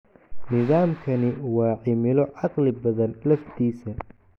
Nidaamkani waa cimilo caqli badan laftiisa!